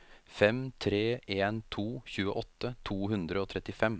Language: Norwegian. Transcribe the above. fem tre en to tjueåtte to hundre og trettifem